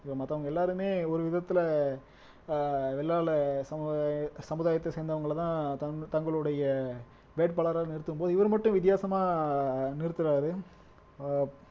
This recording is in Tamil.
இப்ப மத்தவங்க எல்லாருமே ஒரு விதத்துல அஹ் சமுதா சமுதாயத்தை சேர்ந்தவங்களைதான் தங் தங்களுடைய வேட்பாளரா நிறுத்தும்போது இவர் மட்டும் வித்தியாசமா நிறுத்துறாரு அஹ்